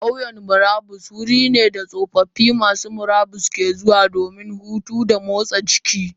Kauyan murabus wurine da tsofaffi masu murabus ke zuwa domin hutu da motsa jikinsu.